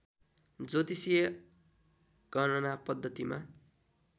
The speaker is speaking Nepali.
ज्योतिषीय गणना पद्धतिमा